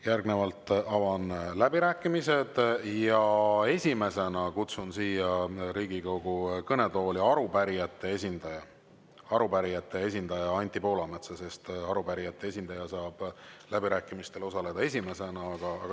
Järgnevalt avan läbirääkimised ja esimesena kutsun siia Riigikogu kõnetooli arupärijate esindaja Anti Poolametsa, sest arupärijate esindaja saab läbirääkimistel osaleda esimesena.